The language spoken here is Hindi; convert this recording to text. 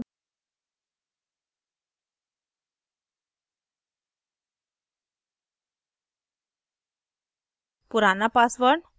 change password